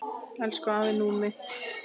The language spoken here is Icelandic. Elsku afi Númi.